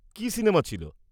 -কী cinema ছিল?